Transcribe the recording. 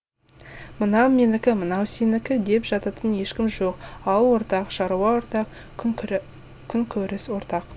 мынау менікі мынау сенікі деп жататын ешкім жоқ ауыл ортақ шаруа ортақ күнкөріс ортақ